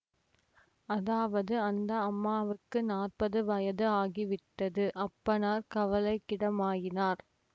அதாவது அந்த அம்மாவுக்கு நாற்பது வயது ஆகிவிட்டது அப்பனார் கவலைக்கிடமாயினர்